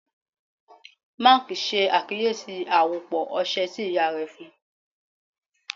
Mark ṣe akiyesi awopọ ọṣẹ ti iya rẹ fun u